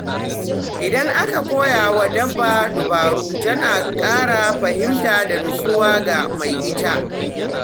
Idan aka koya wa dabba dabaru, tana ƙara fahimta da nutsuwa ga mai ita.